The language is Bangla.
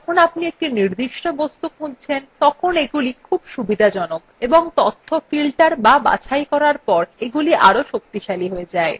যখন আপনি একটি নির্দিষ্ট বস্তু খুঁজছেন তখন এগুলি খুব সুবিধাজনক এবং তথ্য filtered বা বাছাই করার পর এগুলি আরও শক্তিশালী হয়ে যায়